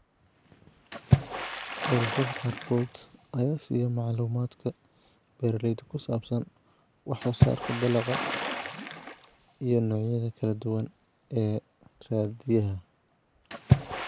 Ururada qaarkood ayaa siiya macluumaadka beeralayda ku saabsan wax-soo-saarka dalagga iyo noocyada kala duwan ee raadiyaha.